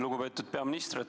Lugupeetud peaminister!